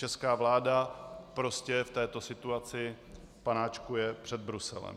Česká vláda prostě v této situaci panáčkuje před Bruselem.